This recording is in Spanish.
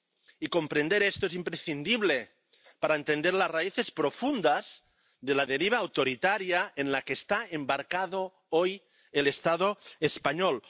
Y comprender esto es imprescindible para entender las raíces profundas de la deriva autoritaria en la que está embarcado hoy el Estado español.